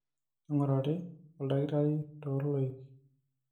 neingurari oldakitari loo loik